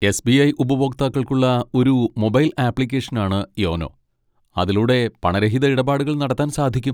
SBI. ഉപഭോക്താക്കൾക്കുള്ള ഒരു mobile ആപ്ലിക്കേഷനാണ് യോനോ, അതിലൂടെ പണരഹിത ഇടപാടുകൾ നടത്താൻ സാധിക്കും.